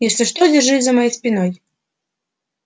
если что держись за моей спиной